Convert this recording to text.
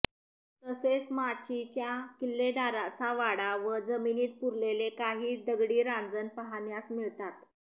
तसेच माचीच्या किल्लेदाराचा वाडा व जमिनीत पुरलेले काही दगडी रांजण पाहण्यास मिळतात